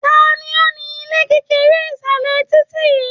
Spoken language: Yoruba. Tani ó ni ilé kekere isalẹ titi yìí?